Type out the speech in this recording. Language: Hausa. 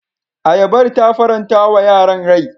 Ayabar ta faranta wa yaran rai.